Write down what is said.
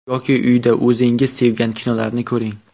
Yoki uyda o‘zingiz sevgan kinolarni ko‘ring.